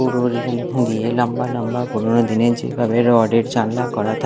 পুরো রেলিং দিয়ে দিয়ে লাম্বা লাম্বা পুরোনো দিনের যেভাবে রড -এর জানালা করা থাক--